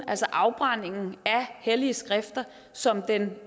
afbrænding af hellige skrifter som den